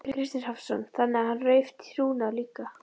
Kristinn Hrafnsson: Þannig að hann rauf trúnað líka?